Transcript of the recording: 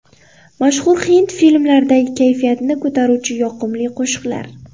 Mashhur hind filmlaridagi kayfiyatni ko‘taruvchi yoqimli qo‘shiqlar .